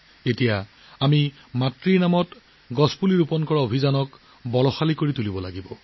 এতিয়া আমি এনে মাতৃৰ নামত গছপুলি ৰোপণৰ অভিযান দ্ৰুত কৰিব লাগিব